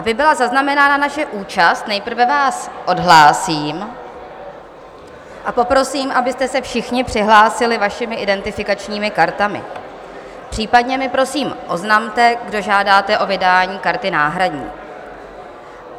Aby byla zaznamenána naše účast, nejprve vás odhlásím a poprosím, abyste se všichni přihlásili vašimi identifikačními kartami, případně mi prosím oznamte, kdo žádáte o vydání karty náhradní.